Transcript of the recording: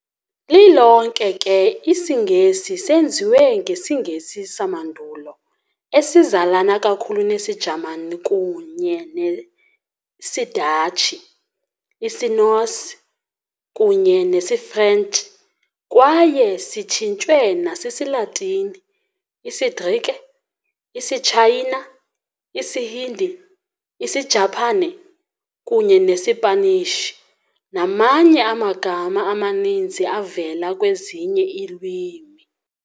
Lilonke ke, isiNgesi senziwe ngesiNgesi samaNdulo, esizalana kakhulu nesiJamani kunye nesiDatshi, isiNorse, kunye nesiFrench, kwaye sitshintshwe nasisiLatini, isiGrike, isiTshayina, isiHindi, isiJaphane, kunye nesiPanishi, namanye amagama amaninzi avela kwezinye iilwimi.